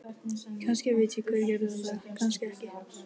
Kannski veit ég hver gerði þetta, kannski ekki.